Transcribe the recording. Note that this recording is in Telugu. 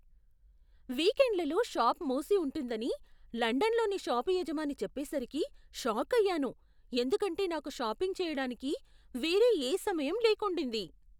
వీకెండ్లలో షాప్ మూసి ఉంటుందని లండన్లోని షాప్ యజమాని చెప్పేసరికి షాక్ అయ్యాను ఎందుకంటే నాకు షాపింగ్ చేయడానికి వేరే ఏ సమయం లేకుండింది.